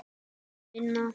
Mun minna.